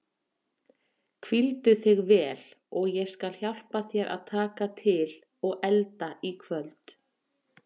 Hvíldu þig vel og ég skal hjálpa þér að taka til og elda í kvöld.